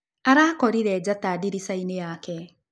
Arakorĩre njata ndĩrĩcaĩnĩ yake.